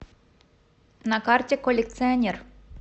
на карте коллекционер